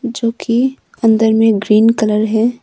जो कि अंदर में ग्रीन कलर है।